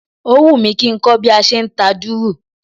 Ó wùmí kí nkó bí a se nta dùrù